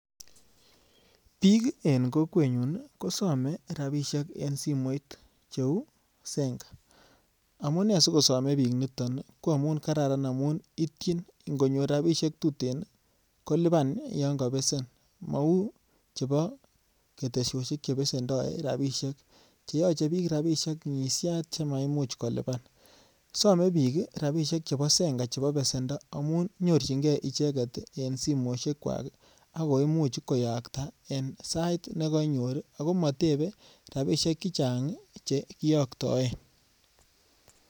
Biik en kokwenyun kosome rabishek en simoit cheuu Zenka, amune skosome biik niton ko amun kararan amun ityin ingonyor rabishek tuten koliban yon kobesen mouu chebo ketesoshek chebesendo rabishek cheyoche biik rabishek ngishat chemaimuch koliban, somee biik rabishek chebo Zenka chebo besendo amun nyorching'e icheket en simoishekwak ak koimuch koyakta en sait nekonyor ak ko motebe rabishek chechang chekiyoktoen.